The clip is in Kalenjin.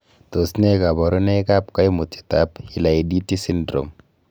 Tos nee koborunoikab koimutietab hilaiditi syndrome?